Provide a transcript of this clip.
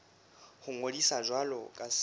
ho ngodisa jwalo ka setsebi